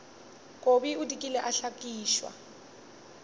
kobi o dikile a hlakišwa